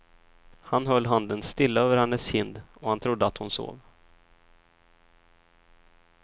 Han höll handen stilla över hennes kind och han trodde att hon sov.